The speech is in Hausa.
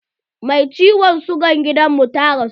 Mai ciwon sigan gidan mu ta rasu.